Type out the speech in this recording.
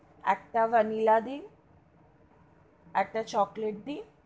একটা vanilla দিন একটা chocolate দিন.